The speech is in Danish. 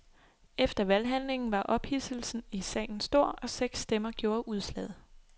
Efter valghandlingen var ophidselsen i salen stor, og seks stemmer gjorde udslaget.